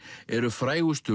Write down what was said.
eru frægustu